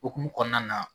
Okumu kɔnɔna na